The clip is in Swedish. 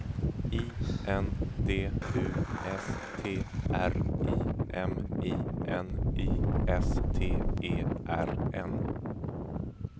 I N D U S T R I M I N I S T E R N